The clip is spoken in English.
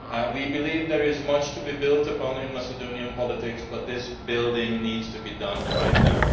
We believe there is much to be built upon in Macedonian politics, but this building needs to be done right now.